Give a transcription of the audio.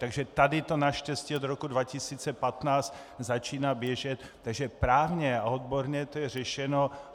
Takže tady to naštěstí od roku 2015 začíná běžet, takže právně a odborně to je řešeno.